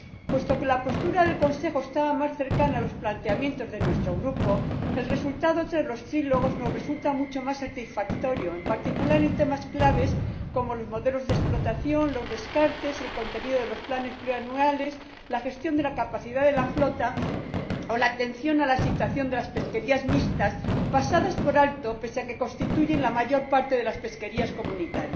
Puesto que la postura del Consejo estaba más cerca de los planteamientos de nuestro Grupo, el resultado tras los diálogos tripartitos nos resulta mucho más satisfactorio, en particular, en temas claves como los modelos de explotación, los descartes, el contenido de los planes plurianuales, la gestión de la capacidad de la flota o la atención a la situación de las pesquerías mixtas, pasadas por alto pese a que constituyen la mayor parte de las pesquerías de la Unión.